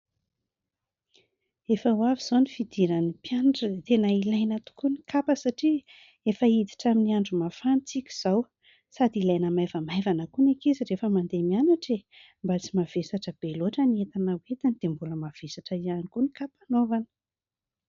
Efa ho avy izao ny fidiran'ny mpianatra. Tena ilaina tokoa ny kapa satria efa hiditra amin'ny andro mafana isika izao. Sady ilaina maivamaivana koa ny ankizy rehefa mandeha mianatra e ! Mba tsy mavesatra be loatra ny entana hoentiny dia mbola mavesatra ihany koa ny kapa anaovana.